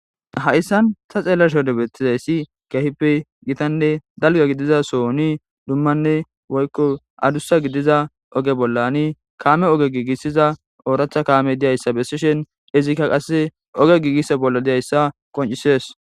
Hayssan ta xeelasho debettizayssi gehippe gitanne dalga gidiza sooni dummanne woykko adussa gidiza oge bollani kaame oge giigissiza ooratha kaame diyayssa bessishen izikka qasse oge giigisse bolla diyayssa qoncisees